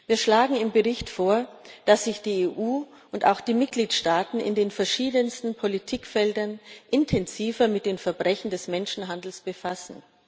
Wir schlagen im Bericht vor, dass sich die EU und auch die Mitgliedstaaten in den verschiedensten Politikfeldern intensiver mit den Verbrechen des Menschenhandels befassen.